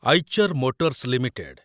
Eicher motors limited